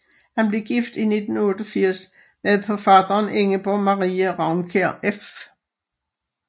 Han blev gift i 1888 med forfatteren Ingeborg Marie Raunkiær f